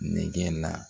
Nɛgɛn na